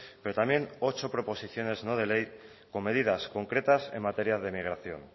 pero también ocho proposiciones no de ley con medidas concretas en materia de migración